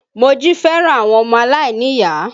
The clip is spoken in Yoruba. Moji fẹ́ràn àwọn ọmọ aláìníyàá